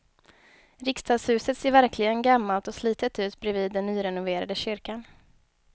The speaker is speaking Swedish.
Riksdagshuset ser verkligen gammalt och slitet ut bredvid den nyrenoverade kyrkan.